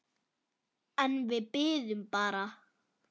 En við biðum bara.